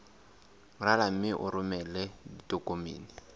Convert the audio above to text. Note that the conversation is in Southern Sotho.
rala mme o romele ditokomene